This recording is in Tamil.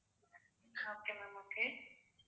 okay ma'am okay